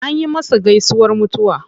Anyi masa gaisuwar mutuwa.